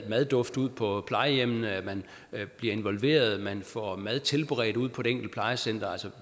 madduft ud på plejehjemmene at man bliver involveret og at man får mad tilberedt ude på det enkelte plejecenter